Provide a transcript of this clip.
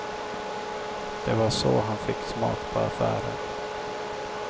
Det var så han fick smak på affärer.